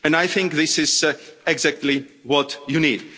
I think this is exactly what you need.